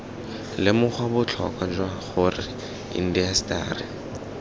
lemoga botlhokwa jwa gore indaseteri